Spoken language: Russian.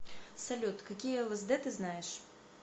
салют какие лсд ты знаешь